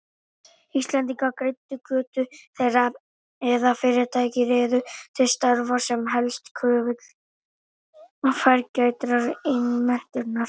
Íslendingar greiddu götu þeirra eða fyrirtæki réðu þá til starfa, sem helst kröfðust fágætrar iðnmenntunar.